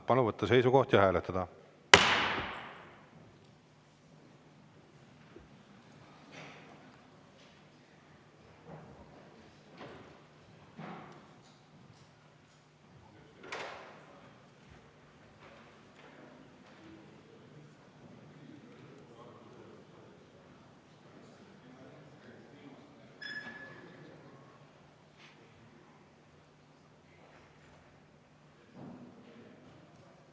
Palun võtta seisukoht ja hääletada!